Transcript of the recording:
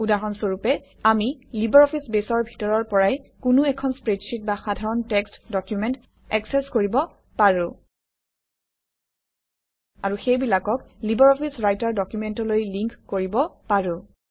উদাহৰণ স্বৰূপে আমি লিবাৰঅফিছ বেছৰ ভিতৰৰ পৰাই কোনো এখন স্প্ৰেডশ্বিট বা সাধাৰণ টেক্সট্ ডকুমেণ্ট একচেচ কৰিব পাৰোঁ আৰু সেইবিলাকক লিবাৰঅফিছ ৰাইটাৰ ডকুমেণ্টলৈ লিংক কৰিব পাৰোঁ